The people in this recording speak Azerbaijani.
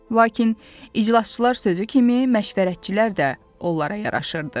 Lakin iclasçılar sözü kimi məşvərətçilər də onlara yaraşırdı.